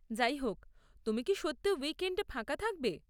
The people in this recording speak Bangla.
যাইহোক, তুমি কি সত্যি উইকএন্ডে ফাঁকা থাকবে?